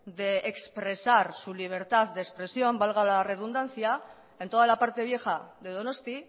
de expresar su libertad de expresión valga la redundancia en toda la parte vieja de donosti